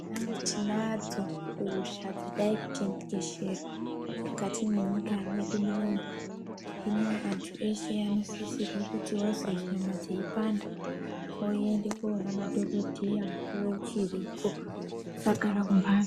Aaaa tinadzo hosha dzaka tekeshera mukati mwe nyika mwedu munomu hino antu eshe ano sisirwe kuti vazwe nyama dzeyi panda voende ko ona madhokodheya mukuwo uchiripo asagara mu mbatso.